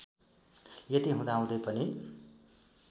यति हुदाहुँदै पनि